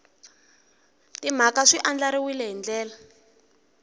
timhaka swi andlariwile hi ndlela